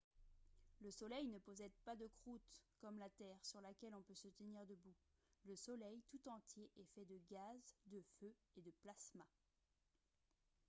le soleil ne possède pas de croûte comme la terre sur laquelle on peut se tenir debout le soleil tout entier est fait de gaz de feu et de plasma